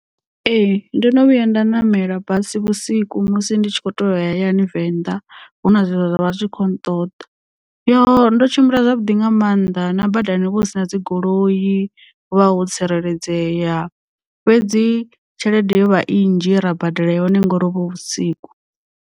Ee ndo no vhuya nda ṋamela basi vhusiku musi ndi tshi kho to ya hayani venḓa hu na zwe zwa vha zwi khou nṱoḓa yo ndo tshimbila zwavhuḓi nga maanḓa na badani hovha hu si na dzi goloi ho vha ho tsireledzea fhedzi tshelede yo vha i nnzhi ye ra badela yone ngori hovho hu vhusiku.